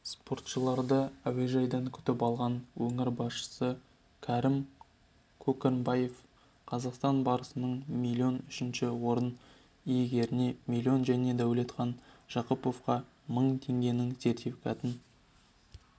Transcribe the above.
спортшыларды әуежайдан күтіп алған өңір басшысы кәрім көкірекбаев қазақстан барысына миллион үшінші орын иегеріне миллион және дәулетхан жақыповқа мың теңгенің сертификатын